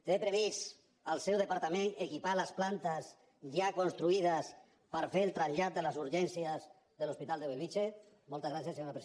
té previst el seu departament equipar les plantes ja construï des per fer el trasllat de les urgències de l’hospital de bellvitge moltes gràcies senyora presidenta